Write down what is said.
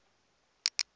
u hatula nga u vha